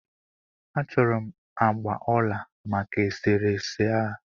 A chọrọ m agbà ọla maka e sere ese a.